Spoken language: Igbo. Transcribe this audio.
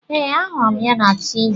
Ee, ahụrụ m ya na Tiivii.